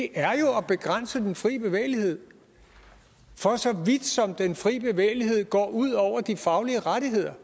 er jo at begrænse den fri bevægelighed for så vidt som den fri bevægelighed går ud over de faglige rettigheder